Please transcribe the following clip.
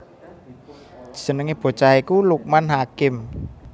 Jenengé bocah iku Lukman Hakim